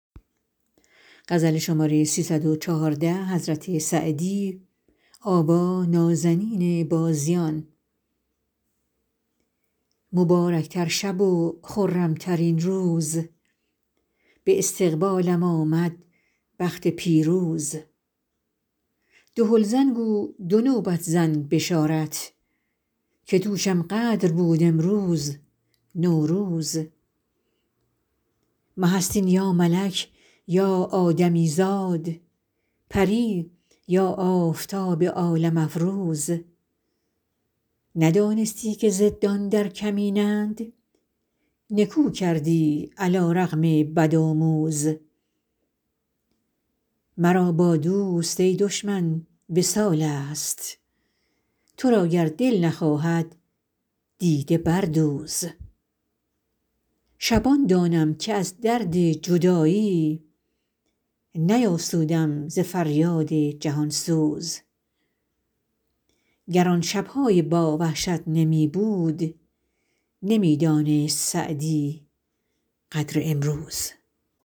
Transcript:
مبارک تر شب و خرم ترین روز به استقبالم آمد بخت پیروز دهل زن گو دو نوبت زن بشارت که دوشم قدر بود امروز نوروز مه است این یا ملک یا آدمی زاد پری یا آفتاب عالم افروز ندانستی که ضدان در کمینند نکو کردی علی رغم بدآموز مرا با دوست ای دشمن وصال است تو را گر دل نخواهد دیده بردوز شبان دانم که از درد جدایی نیاسودم ز فریاد جهان سوز گر آن شب های با وحشت نمی بود نمی دانست سعدی قدر این روز